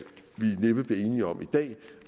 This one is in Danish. næppe bliver enige om i dag